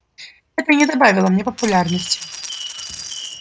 это не добавило мне популярности